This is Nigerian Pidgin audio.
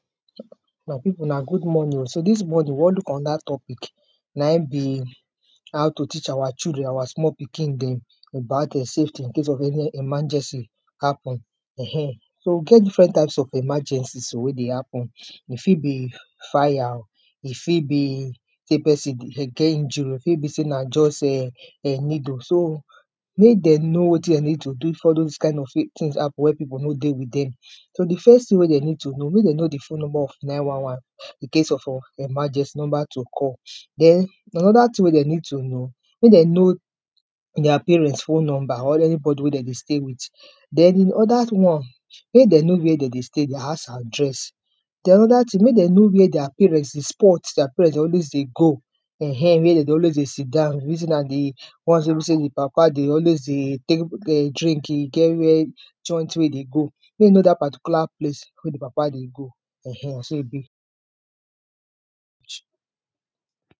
My pipu una good morning oh, so dis morning we wan look anoda topic naim be how to teach how children our small pikin dem about safety incase of any emergency happen [urn]. So we get different types of emergencies wey dey happen e fit be fire oh, e fit be sey pesin get injury, e fit be sey na just[um] needle. So make dem know wetin dem need to do wen dose kind of tins happen wen pipu no dey with dem, so di first tin dem need to do, make dem know di phone number of nine one one incase of emergency di number to call, den anoda tin wey dem need to know, make dem know dia parent phone number or any body wey dem dey stay with, den di oda one make dem know wia dem dey stay di house address, den anoda tin make dem know where dia parent dey spot, dia parent dey always dey go [um]where dem always dey sit down, reason na di ones wey be sey di papa dey always dey take drink e get where joint wey im dey go, make e know dat particular place wey di papa dey go um na so e be.